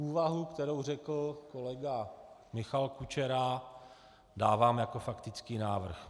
Úvahu, kterou řekl kolega Michal Kučera, dávám jako faktický návrh.